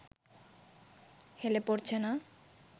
হেলে পড়ছে না